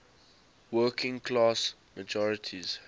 working class majorities